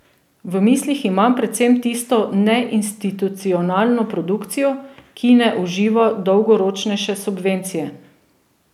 V mislih imam predvsem tisto neinstitucionalno produkcijo, ki ne uživa dolgoročnejše subvencije.